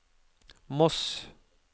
Moss